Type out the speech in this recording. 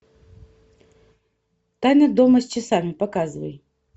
тайна дома с часами показывай